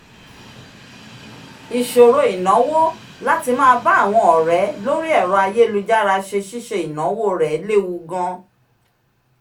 ìṣòro ináwó láti máa bá àwọn ọ̀rẹ́ lórí ẹ̀rọ ayélujára ṣe ṣíṣe ináwó rẹ lewu gan